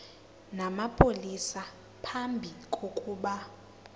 namapolisa phambi kokuba